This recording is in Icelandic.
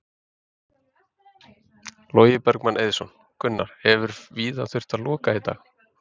Logi Bergmann Eiðsson: Gunnar, hefur víða þurft að loka í dag?